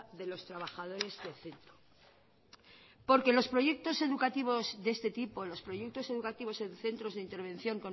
de los trabajadores del centro los proyectos educativos de este tipo los proyectos educativos en centros de intervención